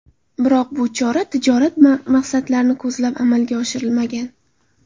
Biroq bu chora tijorat maqsadlarini ko‘zlab amalga oshirilmagan.